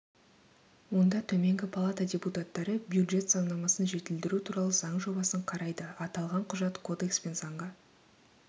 онда төменгі палата депутаттары бюджет заңнамасын жетілдіру туралы заң жобасын қарайды аталған құжат кодекс пен заңға